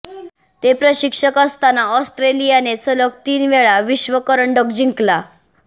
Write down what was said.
ते प्रशिक्षक असताना ऑस्ट्रेलियाने सलग तीन वेळा विश्वकरंडक जिंकला